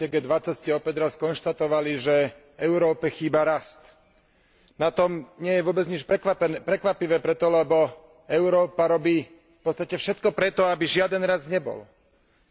Vážený pán komisár, na samite G20 ste opäť raz skonštatovali, že Európe chýba rast. Na tom nie je vôbec nič prekvapivé preto, lebo Európa robí v podstate všetko preto, aby žiaden rast nebol.